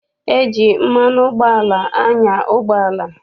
E ji mmanụ ụgbọala anya ụgbọala.